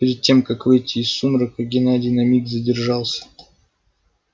перед тем как выйти из сумрака геннадий на миг задержался